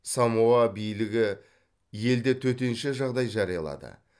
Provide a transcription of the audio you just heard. самоа билігі елде төтенше жағдай жариялады